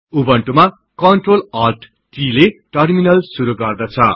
उबुन्टुमा Ctrl Alt t ले terminal शुरु गर्दछ